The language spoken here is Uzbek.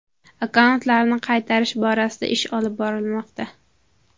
Akkauntlarni qaytarish borasida ish olib borilmoqda.